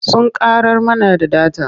Sun ƙarar mana da data.